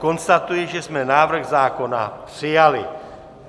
Konstatuji, že jsme návrh zákona přijali.